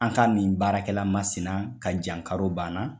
An ka min baarakɛla masina ka jankaro banna